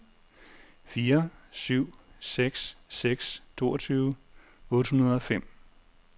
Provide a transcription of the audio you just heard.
fire syv seks seks toogtyve otte hundrede og fem